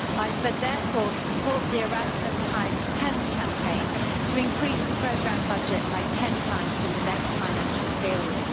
I therefore support the Erasmusx10 Campaign to increase the programme budget 10 times in the next financial period.